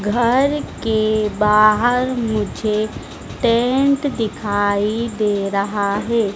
घर के बाहर मुझे टेंट दिखाई दे रहा है।